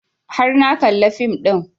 Har na kalla fim ɗin